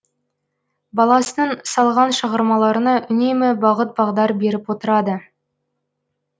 баласының салған шығармаларына үнемі бағыт бағдар беріп отырады